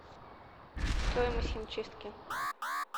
стоимость химчистки